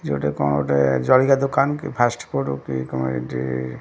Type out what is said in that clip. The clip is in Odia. ଏଠି କଣ ଗୋଟେ ଜଳଖିଆ ଦୋକାନ କି ଫାଷ୍ଟ ଫୁଡ କି କଣ ଏଠି ---